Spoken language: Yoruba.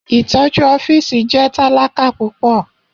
Itọju ọfiisi jẹ talaka pupọ.